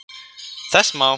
Þess má